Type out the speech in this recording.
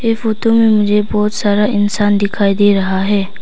Photo में मुझे बहोत सारा इंसान दिखाई दे रहा है।